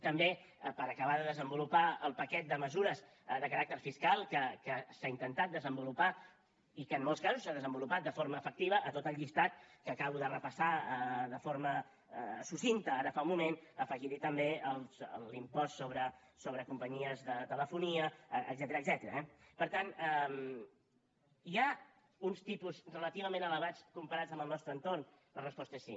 també per acabar de desenvolupar el paquet de mesures de caràcter fiscal que s’ha intentat desenvolupar i que en molts casos s’ha desenvolupat de forma efectiva a tot el llistat que acabo de repassar de forma succinta ara fa un moment afegir hi també l’impost sobre companyies de telefonia etcètera eh per tant hi ha uns tipus relativament elevats comparats amb el nostre entorn la resposta és sí